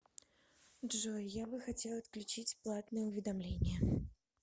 джой я бы хотел отключить платное уведомление